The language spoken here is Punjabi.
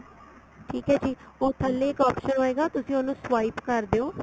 ਠੀਕ ਏ ਜੀ ਉਹ ਥੱਲੇ ਇੱਕ option ਹੋਏਗਾ ਤੁਸੀਂ ਉਹਨੂੰ swipe ਕਰ ਦਿਉ